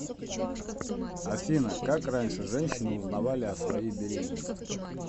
афина как раньше женщины узнавали о своей беременности